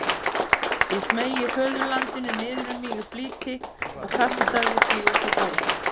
Ég smeygði föðurlandinu niður um mig í flýti og kastaði því út á gólf.